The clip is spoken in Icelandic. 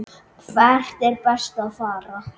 Hvert er best að fara?